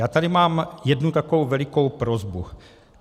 Já tady mám jednu takovou velikou prosbu.